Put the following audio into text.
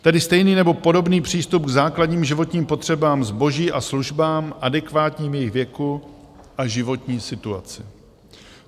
Tedy stejný nebo podobný přístup k základním životním potřebám, zboží a službám adekvátním jejich věku a životní situaci.